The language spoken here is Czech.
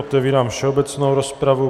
Otevírám všeobecnou rozpravu.